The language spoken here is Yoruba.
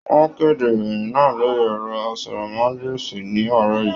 Wọn kede ìròyìn náà lórí ẹrọ àsọ̀rọ̀mágbèsi ní àárọ̀ yìí.